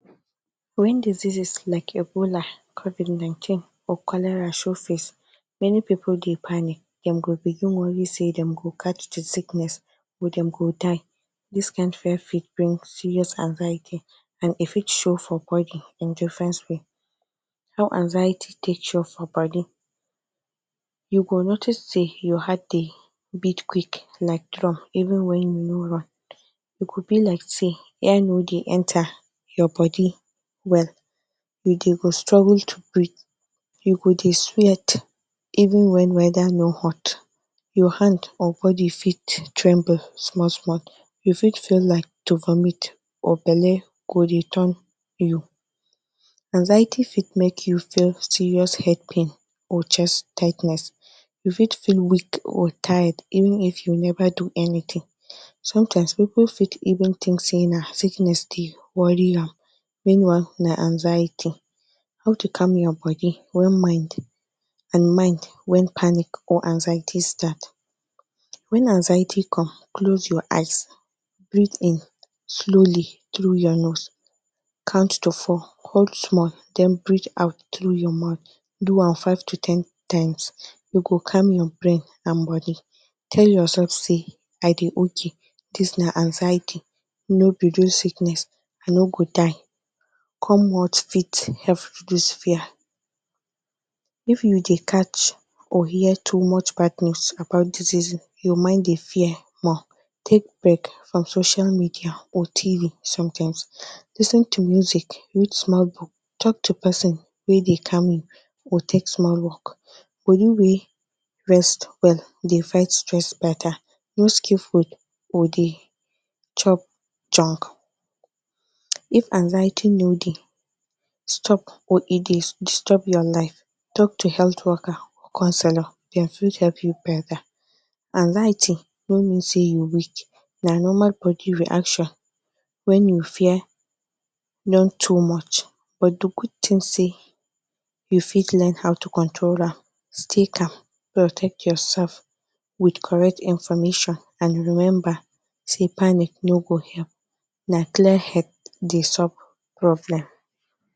Wen disease like Ebola, covid19 or cholera show face many people dey panic, them go begin worry sey them go catch the sickness or them go die dis kin fear fit bring serious anxiety and e fit show for body in different way. How anxiety take show for body, you go notice say your heart dey beat quick like drum even wen you no run, e go be like say air no dey enter your body well, you go dey struggle to breathe, you go dey sweat even when weather no hot your hand and body fit tremble small small you fit feel like to vomit or belle go dey turn you, anxiety fit make you feel serious head pain or chest tightness you fit feel weak or tired even if you never do anything, sometimes people fit even tink say na sickness dey worry am meanwhile na anxiety. How to calm your body and mind wen panic or anxiety start, when anxiety come close your eyes breathe in slowly through your nose, count to four hold small then breathe out through your mouth do am 5 to ten times you go calm your brain and body, tell yourself say I dey ok this na anxiety no be real sickness, I no go die what fit help this fear if you dey catch or hear too much bad news about diseases your mind dey fear more, take break from social media or tv sometimes lis ten to music read small book talk to person wey dey calm you or take small walk body wey rest well dey fight stress better. No skip food or dey chop junk if anxiety no dey stop or e dey disturb your life talk to health worker or counselor dem fit help you better anxiety no mean say you weak na normal body reaction wen your fear don too much, but the good thing say you fit learn how to control am stay calm protect yourself with correct information and remember sey panic no go help na clear head dey solve problem.